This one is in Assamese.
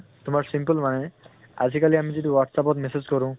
তোমাৰ simple মানে আজি কালি আমি যিটো WhatsApp ত message কৰো,